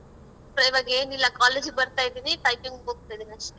ಇವಾಗೆನಿಲ್ಲ college ಇಗ್ ಬರ್ತಾ ಇದೀನಿ typing ಇಗ್ ಹೋಗ್ತಾ ಇದೀನ್ ಅಷ್ಟೇ.